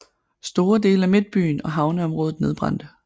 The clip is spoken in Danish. Store dele af midtbyen og havneområdet nedbrændte